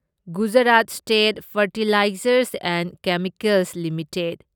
Gujarat state fertilizers and chemicals limited